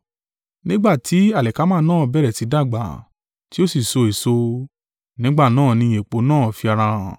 Nígbà tí alikama náà bẹ̀rẹ̀ sí dàgbà, tí ó sì so èso, nígbà náà ni èpò náà fi ara hàn.